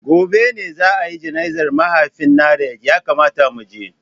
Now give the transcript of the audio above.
Gobe ​​ne za a yi jana'izar mahaifin Nanret, ya kamata mu je.